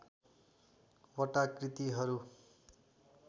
वटा कृतिहरू